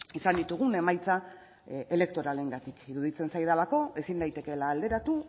izan ditugun emaitza elektoralengatik iruditzen zaidalako ezin daitekeela alderatu